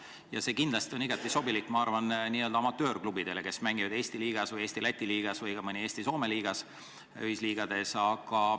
Muudatused kindlasti on igati sobilikud, ma arvan, amatöörklubidele, kes mängivad Eesti liigas või Eesti-Läti liigas või Eesti-Soome liigas – sellistes ühisliigades.